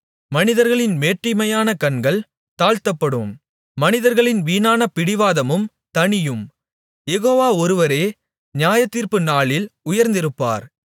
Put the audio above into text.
மனிதர்களின் மேட்டிமையான கண்கள் தாழ்த்தப்படும் மனிதர்களின் வீணான பிடிவாதமும் தணியும் யெகோவா ஒருவரே நியாயத்தீர்ப்பு நாளில் உயர்ந்திருப்பார்